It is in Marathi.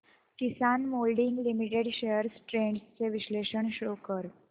किसान मोल्डिंग लिमिटेड शेअर्स ट्रेंड्स चे विश्लेषण शो कर